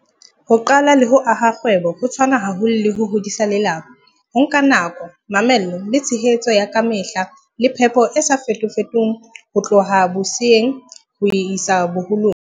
Ho qala le ho aha kgwebo ho tshwana haholo le ho hodisa lelapa. Ho nka nako, mamello, le tshehetso ya kamehla le phepo e sa fetofetong ho tloha boseyeng ho isa boholong.